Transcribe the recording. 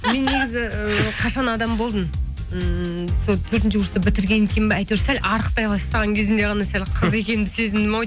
мен негізі ы қашан адам болдым ммм сол төртінші курсты бітірген кейін бе әйтеуір сәл арықтай бастаған кезімде ғана сәл қыз екенімді сезіндім ау